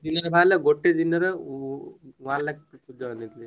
ଦିନରେ ବାହାରିଲା ଗୋଟେ ଦିନରେ one lakh join ହେଇଥିଲେ।